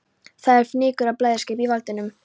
Það er fnykur af bleyðiskap í vindinum.